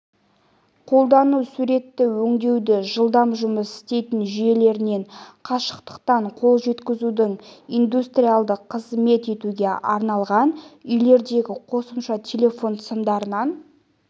қолдану суретті өңдеудің жылдам жұмыс істейтін жүйелерінен қашықтықтан қол жеткізудің индустриялды қызмет етуге арналған үйлердегі қосымша телефон сымдарынан